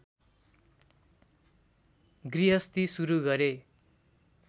गृहस्थी सुरु गरे